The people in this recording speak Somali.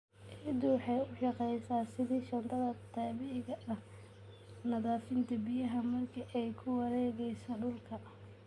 Ciiddu waxay u shaqeysaa sidii shaandhada dabiiciga ah, nadiifinta biyaha marka ay ku wareegeyso dhulka.